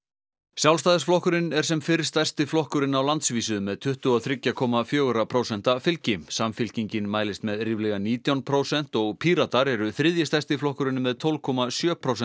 Sjálfstæðisflokkurinn er sem fyrr stærsti flokkurinn á landsvísu með tuttugu og þrjú komma fjögur prósent fylgi Samfylkingin mælist með ríflega nítján prósent og Píratar eru þriðji stærsti flokkurinn með tólf komma sjö prósent